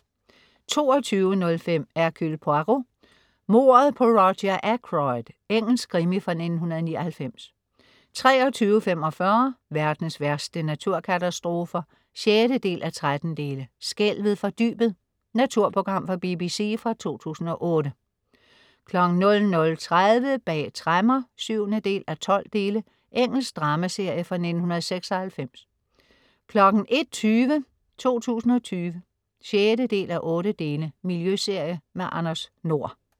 22.05 Hercule Poirot: Mordet på Roger Ackroyd. Engelsk krimi fra 1999 23.45 Verdens værste naturkatastrofer 6:13. "Skælvet fra dybet". Naturprogram fra BBC fra 2008 00.30 Bag tremmer 7:12. Engelsk dramaserie fra 1996 01.20 2020 6:8. Miljøserie. Anders Nord